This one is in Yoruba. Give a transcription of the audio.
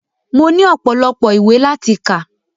Mo ní ọpọ́lọpọ́ ìwé láti kà.